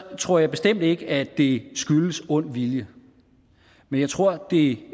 tror jeg bestemt ikke at det skyldes ond vilje men jeg tror at det